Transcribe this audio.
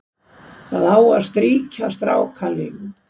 Það á að strýkja strákaling,